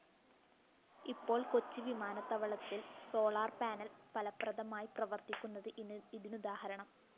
ഇപ്പോള്‍ കൊച്ചി വിമാനത്താവളത്തില്‍ solar panel ഫലപ്രദമായി പ്രവര്‍ത്തിക്കുന്നത് ഇതിനുദാഹരണം